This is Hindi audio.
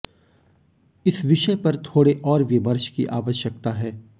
इस विषय पर थोड़े और विमर्श की आवश्यकता है